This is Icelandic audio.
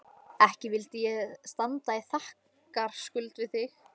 Ekki vildi ég standa í þakkarskuld við þig